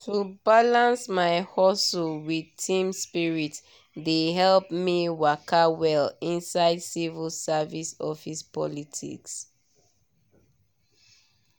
to balance my hustle with team spirit dey help me waka well inside civil service office politics.